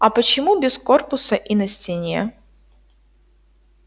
а почему без корпуса и на стене